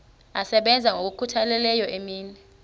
asebenza ngokokhutheleyo imini